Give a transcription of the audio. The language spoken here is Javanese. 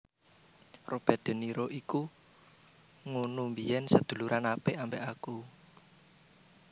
Robert de Niro iki ngunu biyen seduluran apik ambek aku